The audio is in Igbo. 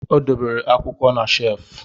Ọ debere akwụkwọ na shefu